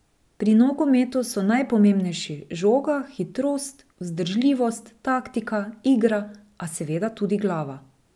Pri nogometu so najpomembnejši žoga, hitrost, vzdržljivost, taktika, igra, a seveda tudi glava.